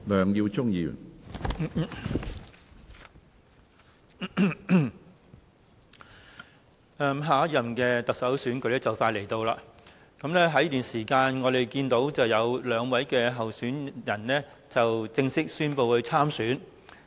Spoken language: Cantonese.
主席，下一任特首選舉即將到來，在這段時間，有兩位人士已正式宣布會參選。